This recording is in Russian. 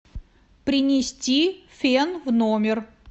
принести фен в номер